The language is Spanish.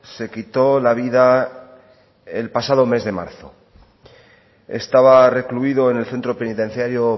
se quitó la vida el pasado mes de marzo estaba recluido en el centro penitenciario